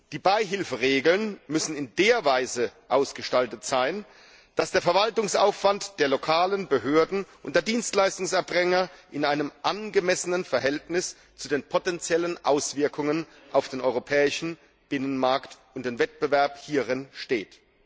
Die Beihilferegeln müssen in der Weise ausgestaltet sein, dass der Verwaltungsaufwand der lokalen Behörden und der Dienstleistungserbringer in einem angemessenen Verhältnis zu den potenziellen Auswirkungen auf den europäischen Binnenmarkt und dem Wettbewerb hierin steht.